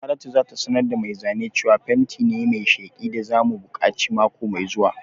Saratu za ta sanar da mai zane cewa fenti ne mai sheki da za mu buƙaci mako mai zuwa